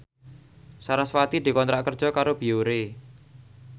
sarasvati dikontrak kerja karo Biore